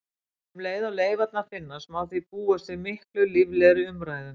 Um leið og leifarnar finnast má því búast við miklu líflegri umræðum.